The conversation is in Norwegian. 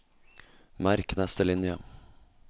Merk neste linje